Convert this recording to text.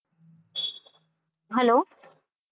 hello